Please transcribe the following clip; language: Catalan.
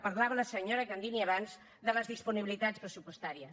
parlava la senyora candini abans de les disponibilitats pressupostàries